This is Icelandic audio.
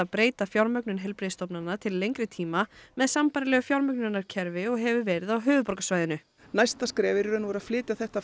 breyta fjármögnun heilbrigðisstofnana til lengri tíma með sambærilegu fjármögnunarkerfi og hefur verið á höfuðborgarsvæðinu næsta skref er í raun að flytja þetta